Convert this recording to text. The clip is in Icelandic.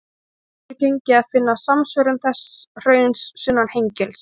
Illa hefur gengið að finna samsvörun þess hrauns sunnan Hengils.